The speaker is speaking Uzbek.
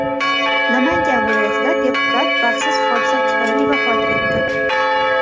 Namangan viloyatida deputat baxtsiz hodisa tufayli vafot etdi.